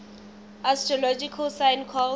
astrological sign called